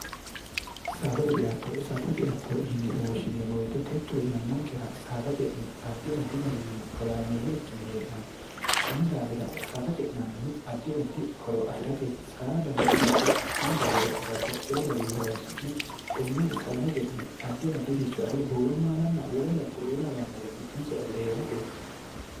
saadate ceatto saada e ceatto yine woshshineemmoweexe techo yannankera saada ce'ne addi addi garinni horaameeyye ikkine hee'naanni kunni daafira saada ce'nannihu addi addi horo afi'rateeti saadano babbaxno baaseera babbaxxeyo gari horoonsi'ne tenne saada ce'ne addi addi'richo ado buuro maalanna wole noo kuri ulaawannore giddoonse afi're hee'ratee